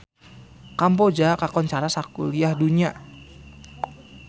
Kamboja kakoncara sakuliah dunya